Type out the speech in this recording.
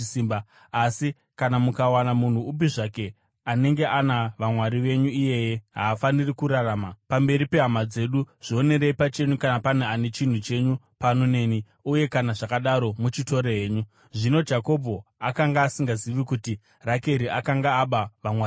Asi kana mukawana munhu upi zvake anenge ana vamwari venyu, iyeye haafaniri kurarama. Pamberi pehama dzedu zvionerei pachenyu kana pane chinhu chenyu pano neni; uye kana zvakadaro, muchitore henyu.” Zvino Jakobho akanga asingazivi kuti Rakeri akanga aba vamwari vacho.